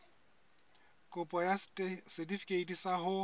kopo ya setefikeiti sa ho